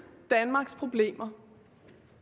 danmarks problemer